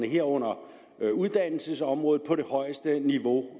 herunder uddannelsesområdet på det højeste niveau